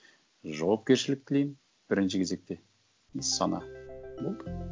жауапкершілік тілеймін бірінші кезекте сана болды